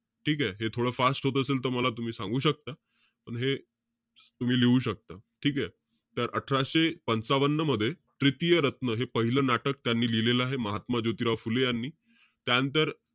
ठीके? हे थोडं fast होत असेल त मला तुम्ही सांगू शकता. पण हे, तम्ही लिहू शकता. ठीके? तर अठराशे पंचावन्न मध्ये, त्रितिय रत्न हे पाहिलं नाटक त्यांनी लिहिलेलं आहे. महात्मा ज्योतिराव फुले यांनी. त्यानंतर,